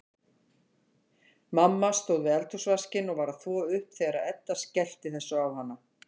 Mamma stóð við eldhúsvaskinn og var að þvo upp þegar Edda skellti þessu á hana.